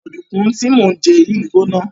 Ọ̀dùnkún tí mò ń jẹ yìí gbóná.